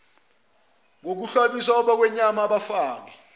ngokuhlabisa abakhwenyana abafake